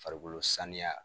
Farikolo saniya